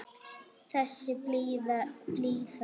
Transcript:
Þessi blíða rödd.